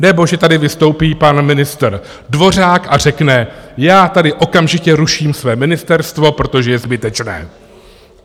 Nebo že tady vystoupí pan ministr Dvořák a řekne: Já tady okamžitě ruším své ministerstvo, protože je zbytečné.